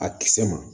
A kisɛ ma